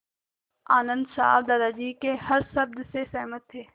आनन्द साहब दादाजी के हर शब्द से सहमत थे